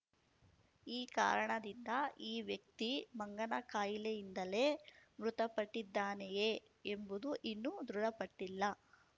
ಈ ಕಾರಣದಿಂದ ಈ ವ್ಯಕ್ತಿ ಮಂಗನ ಕಾಯಿಲೆಯಿಂದಲೇ ಮೃತಪಟ್ಟಿದ್ದಾನೆಯೇ ಎಂಬುದು ಇನ್ನೂ ದೃಢಪಟ್ಟಿಲ್ಲ